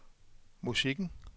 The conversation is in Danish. musikken